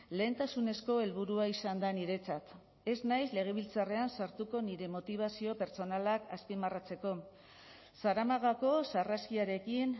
lehentasunezko helburua izan da niretzat ez naiz legebiltzarrean sartuko nire motibazio pertsonalak azpimarratzeko zaramagako sarraskiarekin